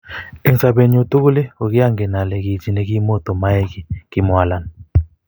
eng sopet nyu tukul kokiangenen ale ki chi nekimoto moae ki kimwa alan